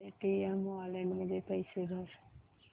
Paytm wallet मध्ये पैसे भर